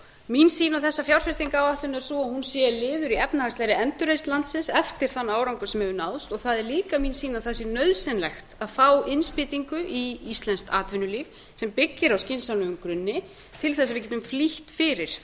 mín sýn á þessa fjárfestingaráætlun er sú að hún sé liður í efnahagslegri endurreisn landsins eftir þann árangur sem hefur náðst og það er líka mín sýn að það sé nauðsynlegt að fá innspýtingu í íslenskt atvinnulíf sem byggir á skynsamlegum grunni til að við getum flýtt fyrir